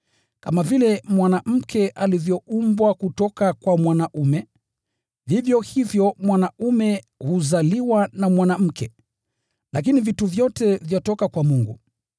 Kama vile mwanamke alivyoumbwa kutoka kwa mwanaume, vivyo hivyo mwanaume huzaliwa na mwanamke. Lakini vitu vyote vyatoka kwa Mungu.